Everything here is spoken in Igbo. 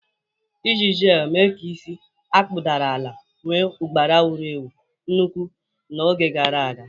Iji jelu mee ka isi a kpụdara ala nwee ụgbara wuru ewu nnukwu n'oge gara aga.